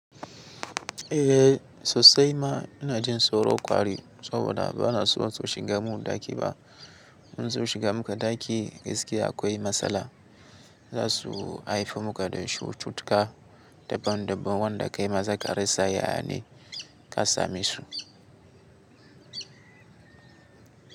Eh sosai ma ina jin tsoro kwari saboda ba na so su shiga mun ɗaki ba. In su shiga muka ɗaki gaskiya akwai matsala. Zasu haife muka da cutuka dabban dabban wanda kai ma zaka risa ya ne ka samesu.